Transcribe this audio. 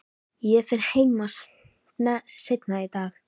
Ég fer heim seinna í dag.